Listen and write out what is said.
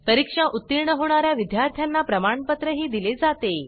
परीक्षेत उत्तीर्ण होणाऱ्या विद्यार्थ्यांना प्रमाणपत्र दिले जाते